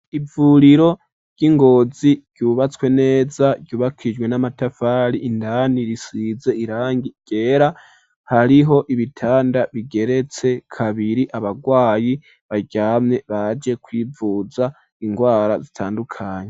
ivuriro ry'ingozi ryubatswe neza ryubakishijwe n'amatafari indani risize irangi ryera hariho ibitanda bigeretse kabiri abagwayi baryamye baje kwivuza indwara zitandukanye.